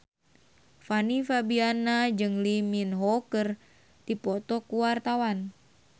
Fanny Fabriana jeung Lee Min Ho keur dipoto ku wartawan